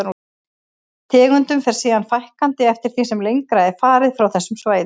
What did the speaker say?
Tegundum fer síðan fækkandi eftir því sem lengra er farið frá þessum svæðum.